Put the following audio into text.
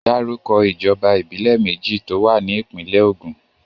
Dárúkọ ìjọba ìbílẹ̀ méjì tó wà ní ìpínlè Ògùn.